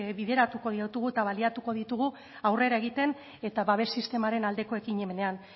bideratuko ditugu eta baliatuko ditugu aurrera egiten eta babes sistemaren aldeko ekimenean